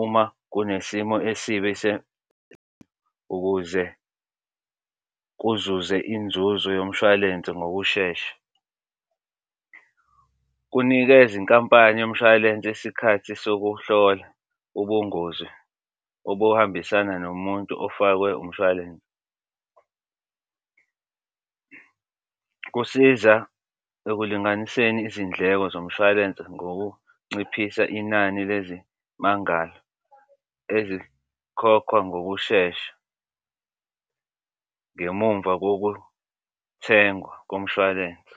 uma kunesimo esibi ukuze kuzuze inzuzo yomshwalense ngokushesha. Kunikeza inkampani yomshwalense isikhathi sokuhlola ubungozi obuhambisana nomuntu ofakwe umshwalense, kusiza ekulinganiseni izindleko zomshwalensi ngokunciphisa inani lezimangalo ezikhokhwa ngokushesha ngemumva kokuthengwa komshwalense.